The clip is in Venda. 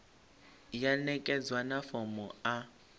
ya ṋekedzwa na fomo a